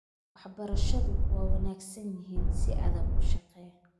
Waxbarashadu waa wanaagsan yihiin, si adag u shaqee